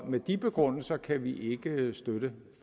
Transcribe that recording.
med de begrundelser kan vi ikke støtte